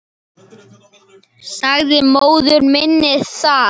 Sagði móður minni það.